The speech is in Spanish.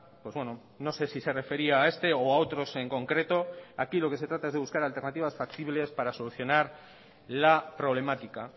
pues bueno no sé si se refería a este o a otros en concreto aquí lo que se trata es de buscar alternativas factibles para solucionar la problemática